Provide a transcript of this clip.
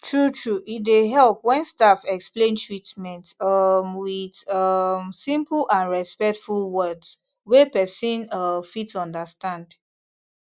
truetrue e dey help when staff explain treatment um with um simple and respectful words wey person um fit understand